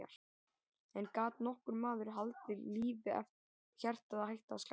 En gat nokkur maður haldið lífi ef hjartað hætti að slá?